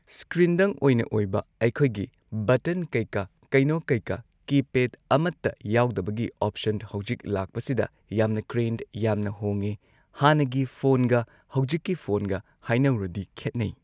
ꯁ꯭ꯀ꯭ꯔꯤꯟꯗꯪ ꯑꯣꯏꯅ ꯑꯣꯏꯕ ꯑꯩꯈꯣꯏꯒꯤ ꯕꯇꯟ ꯀꯩ ꯀꯥ ꯀꯩꯅꯣ ꯀꯩ ꯀꯥ ꯀꯤꯄꯦꯗ ꯑꯃꯇ ꯌꯥꯎꯗꯕꯒꯤ ꯑꯣꯞꯁꯟ ꯍꯧꯖꯤꯛ ꯂꯥꯛꯄꯁꯤꯗ ꯌꯥꯝꯅ ꯀ꯭ꯔꯦꯟ ꯌꯥꯝꯅ ꯍꯣꯡꯉꯦ ꯍꯥꯟꯅꯒꯤ ꯐꯣꯟꯒ ꯍꯧꯖꯤꯛꯀꯤ ꯐꯣꯟꯒ ꯍꯥꯏꯅꯧꯔꯗꯤ ꯈꯦꯠꯅꯩ꯫